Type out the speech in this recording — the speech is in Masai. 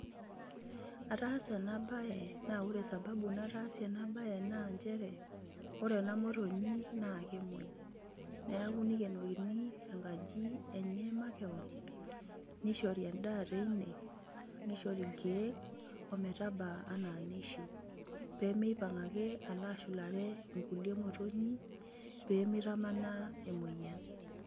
Ataasa eena baye naa oore sababu nataasie eea baye, naa inchere ooore eena motonyi naa kemuei. Niaku neikenokini eena aaji enye makeon, neishori en'daa teiine, neishori irkeek ometaba enaa neishiu peyie meipang'aake aalo ashulare inkulie motonyik, pee meitamanaa emueyian.